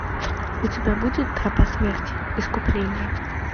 у тебя будет тропа смерти искупление